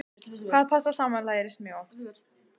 Hvað passar saman lærist mjög fljótt.